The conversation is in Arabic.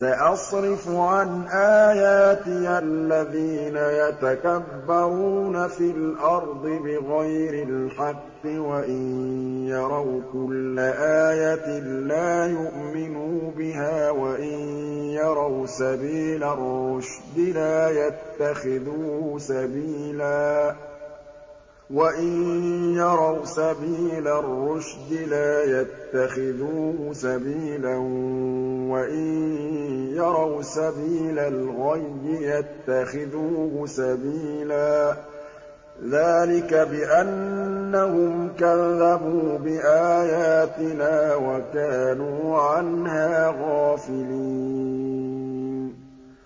سَأَصْرِفُ عَنْ آيَاتِيَ الَّذِينَ يَتَكَبَّرُونَ فِي الْأَرْضِ بِغَيْرِ الْحَقِّ وَإِن يَرَوْا كُلَّ آيَةٍ لَّا يُؤْمِنُوا بِهَا وَإِن يَرَوْا سَبِيلَ الرُّشْدِ لَا يَتَّخِذُوهُ سَبِيلًا وَإِن يَرَوْا سَبِيلَ الْغَيِّ يَتَّخِذُوهُ سَبِيلًا ۚ ذَٰلِكَ بِأَنَّهُمْ كَذَّبُوا بِآيَاتِنَا وَكَانُوا عَنْهَا غَافِلِينَ